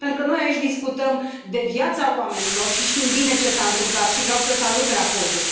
Pentru că noi aici discutăm de viața oamenilor și știm bine ce s a întâmplat și vreau să salut raportul.